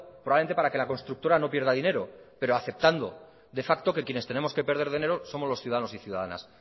probablemente para que la constructora no pierda dinero pero aceptando de facto que quienes tenemos que perder dinero somos los ciudadanos y ciudadanas